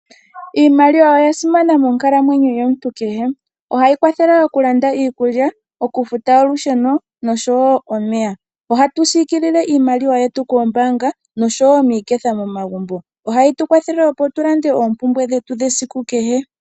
Iimaliwa oyasimana monkalamwenyo yomuntu kehe, ohayi kwathele okulanda iikulya, okufuta olusheno nosho wo omeya. Ohatu siikilile iimaliwa yetu koombaanga nosho wo miiketha momagumbo, ohayi tukwathele opo tulande oompumbwe dhetu dhesiku kehe.